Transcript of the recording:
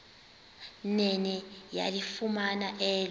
nene yalifumana elo